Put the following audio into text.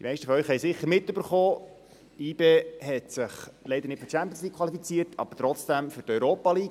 Die meisten von Ihnen haben sicher mitbekommen, dass sich YB leider nicht für die Champions League qualifiziert hat, aber trotzdem für die Europa League.